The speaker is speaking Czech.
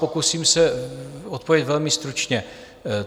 Pokusím se odpovědět velmi stručně.